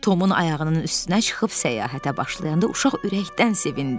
Tomun ayağının üstünə çıxıb səyahətə başlayanda uşaq ürəkdən sevindi.